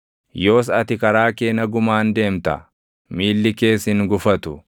Yoos ati karaa kee nagumaan deemta; miilli kees hin gufatu;